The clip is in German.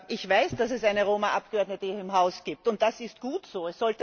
Ich weiß, dass es eine Roma Abgeordnete hier im Haus gibt, und das ist gut so.